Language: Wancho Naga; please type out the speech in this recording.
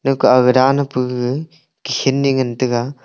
ekao aga danai pu gaga khini ngan tega.